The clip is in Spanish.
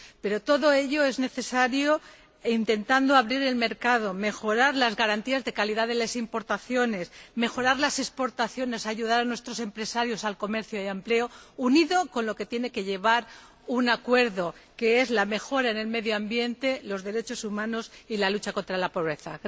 Por todo ello, es necesario intentar abrir el mercado, mejorar las garantías de calidad de las importaciones, mejorar las exportaciones, ayudar a nuestros empresarios en materia de comercio y empleo, unido a lo que tiene que incluir un acuerdo, que es la mejora del medio ambiente, los derechos humanos y la lucha contra la pobreza.